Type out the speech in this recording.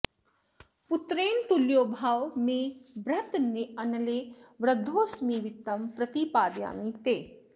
पुत्रेण तुल्यो भव मे बृहन्नले वृद्धोस्मि वित्तं प्रतिपादयामि ते